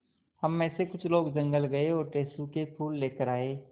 हम मे से कुछ लोग जंगल गये और टेसु के फूल लेकर आये